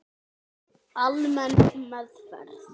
Almenn meðferð